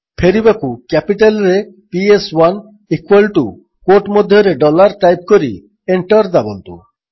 ଫେରିବାକୁ କ୍ୟାପିଟାଲ୍ରେ ପିଏସ୍1 ଇକ୍ୱାଲ୍ ଟୁ କ୍ୱୋଟ୍ ମଧ୍ୟରେ ଡଲାର୍ ଟାଇପ୍ କରି ଏଣ୍ଟର୍ ଦାବନ୍ତୁ